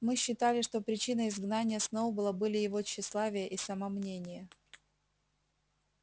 мы считали что причиной изгнания сноуболла были его тщеславие и самомнение